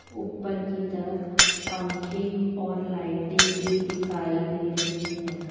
ऊपर की तरफ पंखे और लाइटे भी दिखाई दे रही है।